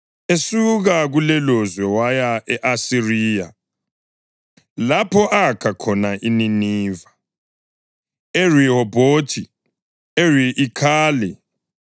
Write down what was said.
Esuka kulelolizwe waya e-Asiriya lapho akha khona iNiniva, iRehobhothi, i-Iri, iKhala